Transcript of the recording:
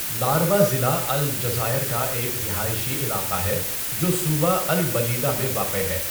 لاربا ضلع الجزائر کا ایک رہائشی علاقہ ہے جو صوبہ البلیدہ میں واقع ہے۔